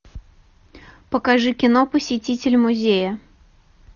покажи кино посетитель музея